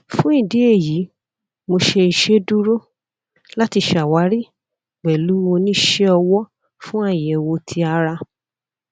fun idi eyi mo ṣe iṣeduro lati ṣawari pẹlu onisẹ ọwọ fun ayẹwo ti ara